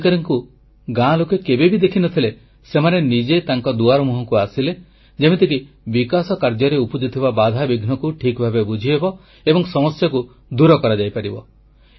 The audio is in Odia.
ଯେଉଁ ଅଧିକାରୀମାନଙ୍କୁ ଗାଁ ଲୋକେ କେବେ ବି ଦେଖିନଥିଲେ ସେମାନେ ନିଜେ ତାଙ୍କ ଦୁଆରମୁହଁକୁ ଆସିଲେ ଯେମିତିକି ବିକାଶ କାର୍ଯ୍ୟରେ ଉପୁଜୁଥିବା ବାଧାବିଘ୍ନକୁ ଠିକଭାବେ ବୁଝିହେବ ଏବଂ ସମସ୍ୟାକୁ ଦୂର କରାଯାଇପାରିବ